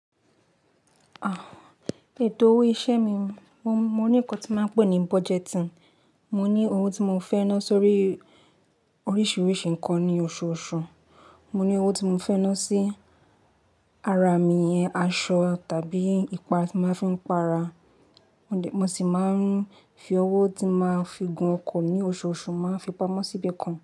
Ah, ètò owó iṣẹ́ mi, mo, mo ní ńkan tí máa ń pè ní budgeting. Mo ní owó tí mo fẹ́ ná sórí oríṣiríṣi ńkan ní oṣooṣù. Mo ní owó tí mo fẹ́ ná sí ara mi, ìyẹn aṣọ tàbí ìpara tí mo máa ń fi ń para. Mo sì máa ń fi owó tí máa fi gún ọkọ̀ ní oṣooṣù, máa ń fi pamọ́ sí ibi kan.